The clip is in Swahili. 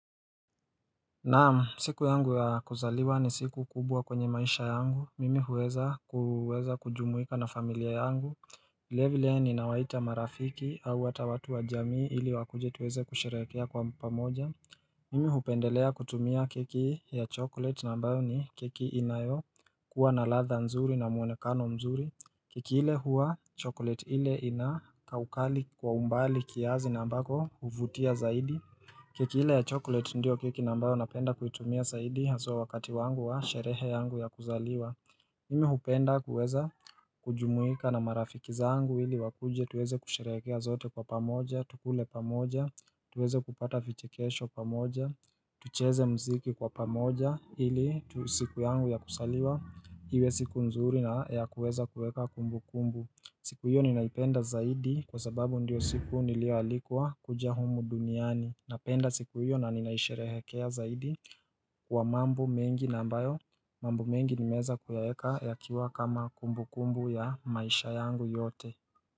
Naam, siku yangu ya kuzaliwa ni siku kubwa kwenye maisha yangu, mimi huweza kujumuika na familia yangu, vilevile yani nawaita marafiki au hata watu wa jamii ili wakuje tuweze kusherehekea kwa pamoja Mimi hupendelea kutumia keki ya chocolate ambayo ni keki inayo kuwa na ladha nzuri na muonekano mzuri keki ile huwa chocolate ile ina kaukali kwa umbali kiasi nambako huvutia zaidi keki ile ya chocolate ndiyo keki ambayo napenda kuitumia zaidi haswa wakati wangu wa sherehe yangu ya kuzaliwa Mimi hupenda kuweza kujumuika na marafiki zangu ili wakuje tuweze kusherehekea sote kwa pamoja Tukule pamoja, tuweze kupata vichekesho pamoja tucheze muziki kwa pamoja ili siku yangu ya kuzaliwa Iwe siku nzuri na ya kuweza kuweka kumbukumbu siku hiyo ninaipenda zaidi kwa sababu ndiyo siku niliyoalikwa kuja humu duniani Napenda siku hiyo na ninaisherehekea zaidi kwa mambo mengi na ambayo mambo mengi nimeweza kuya weka ya kiwa kama kumbukumbu ya maisha yangu yote.